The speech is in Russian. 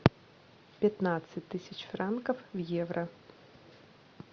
пятнадцать тысяч франков в евро